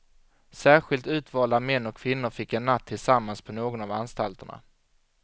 Särskilt utvalda män och kvinnor fick en natt tillsammans på någon av anstalterna.